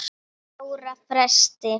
ára fresti.